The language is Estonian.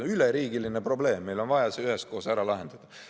See on üleriigiline probleem, meil on vaja see üheskoos ära lahendada.